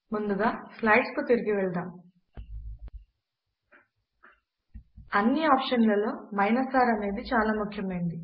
ముందుగా స్లైడ్స్ ను తిరిగి వెళ్దాం అన్ని ఆప్షన్ లలో R అనేది చాలా ముఖ్యమైనది